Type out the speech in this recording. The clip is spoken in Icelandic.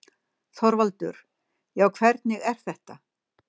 ÞORVALDUR: Já, hvernig er þetta.